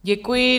Děkuji.